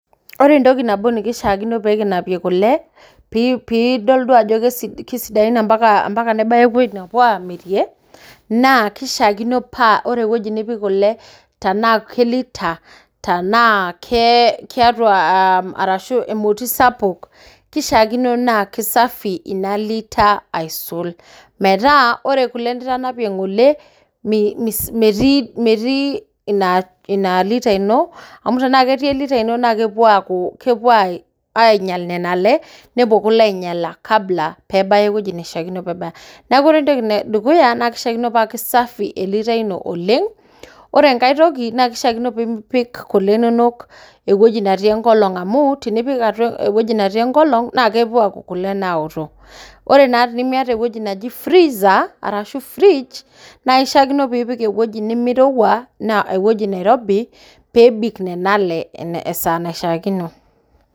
Ore entoki nabo nikishaakino peekinapie kule, piidol duo ajo kesidain ompaka nebaya ewueji napuo aamirie naa keishaakino paa ore ewueji nipik ile tanaa kee lita, tanaa kee arashu emoti sapuk ,keishaakino naa kesafi inalita aisul, metaa ore kule nitanapie ng'ole metii ina lita ino amu tanaa ketii elita ino naa kepo aaku, kepo ainyal nena ile, nepo kule ainyala kabla peebaya eweji neishaakino, peebaya. Naaku ore entoki edukuya naa keishaakino paa kesafi elita ino oleng. Ore enkae toki naa keishaakino piipik ile inonok ewueji natii enkolong amuu tenipik atua ewueji natii enkolong naa kepuo aaku kule naoto. Ore naa tenimiete eweji naji freezer arashu fridge naa ishaakino piipik ewueji nemeirewua anaa ewueji nairobi peebik nena ile esaa naishaakino.